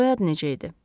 Soyadı necə idi?